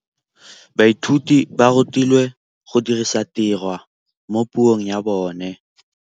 Baithuti ba rutilwe go dirisa tirwa mo puong ya bone.